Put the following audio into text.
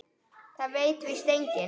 Það veit víst enginn.